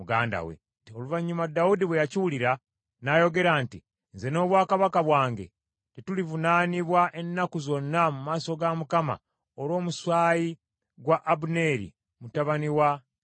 Oluvannyuma Dawudi bwe yakiwulira, n’ayogera nti, “Nze n’obwakabaka bwange tetulivunaanibwa ennaku zonna mu maaso ga Mukama olw’omusaayi gwa Abuneeri mutabani wa Neeri.